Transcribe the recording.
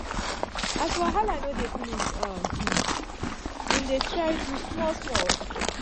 as wahala no dey finish um im dey try do small-small.